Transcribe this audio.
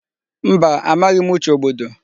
Mba, amaghị m Uche Ogbodo.